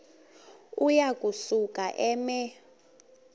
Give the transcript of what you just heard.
uya kusuka eme